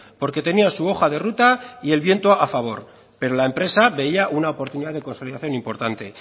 porque tenía su hoja de ruta y el viento a favor pero la empresa veía una oportunidad de consolidación importante